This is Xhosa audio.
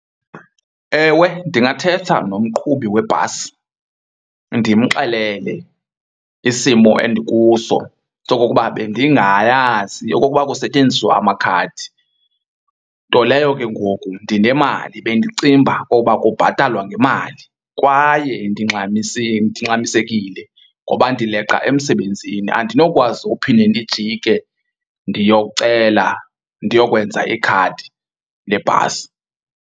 Ewe, ndingathetha nomqhubi webhasi ndimxelele isimo endikuso sokokuba bendingayazi okokuba kusetyenziswa amakhadi. Nto leyo ke ngoku ndinemali bendicinga uba okoba kubhatalwa ngemali kwaye ndingxamisekile ngoba ndileqa emsebenzini, andinokwazi uphinde ndijike ndiyocela ndiyokwenza ikhadi lebhasi.